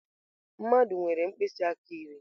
Mmadụ nwere mkpịsị aka iri.